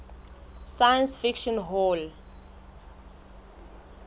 science fiction hall